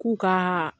K'u ka